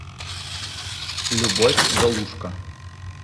любовь галушко